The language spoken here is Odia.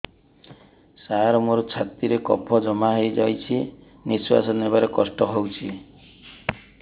ସାର ମୋର ଛାତି ରେ କଫ ଜମା ହେଇଯାଇଛି ନିଶ୍ୱାସ ନେବାରେ କଷ୍ଟ ହଉଛି